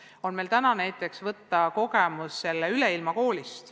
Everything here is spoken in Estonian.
Nende puhul on meil kogemus seoses Üleilmakooliga.